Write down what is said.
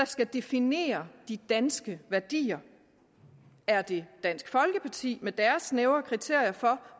skal definere de danske værdier er det dansk folkeparti med deres snævre kriterier for